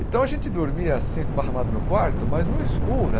Então, a gente dormia assim, esparramado no quarto, mas no escuro.